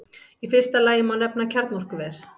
Í fyrsta lagi má nefna kjarnorkuver.